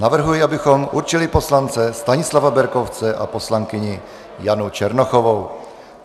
Navrhuji, abychom určili poslance Stanislava Berkovce a poslankyni Janu Černochovou.